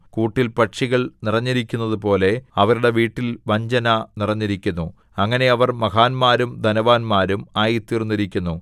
കൂട്ടിൽ പക്ഷികൾ നിറഞ്ഞിരിക്കുന്നതുപോലെ അവരുടെ വീട്ടിൽ വഞ്ചന നിറഞ്ഞിരിക്കുന്നു അങ്ങനെ അവർ മഹാന്മാരും ധനവാന്മാരും ആയിത്തീർന്നിരിക്കുന്നു